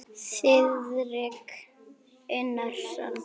Þiðrik Unason.